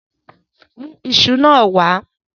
Mu isu naa wa